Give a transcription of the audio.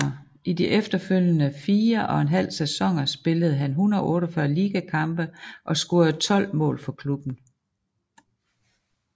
I de efterfølgende 4 og en halv sæsoner spillede han 148 ligakampe og scorede 12 mål for klubben